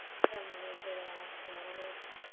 তার মনে হয়েছে এবার আমার ঘুমানো দরকার,